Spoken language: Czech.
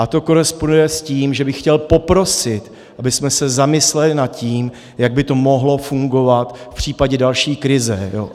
A to koresponduje s tím, že bych chtěl poprosit, abychom se zamysleli nad tím, jak by to mohlo fungovat v případě další krize.